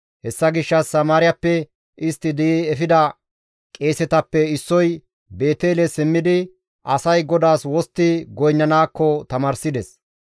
Hessa gishshas Samaariyappe istti di7i efida qeesetappe issoy Beetele simmidi asay GODAAS wostti goynnanaakko tamaarsides.